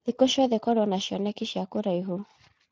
Thikũ ciothe korwo na cioneki cia kũraihu.